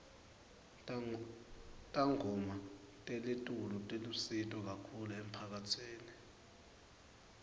tangoma telitulu tilusito kahulu emphakatsini